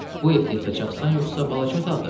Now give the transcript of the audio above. Bu evdə yatacaqsan yoxsa balaca otaqda?